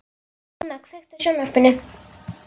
Íma, kveiktu á sjónvarpinu.